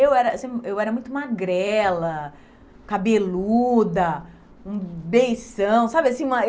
Eu era eu era muito magrela, cabeluda, um beição, sabe assim uma?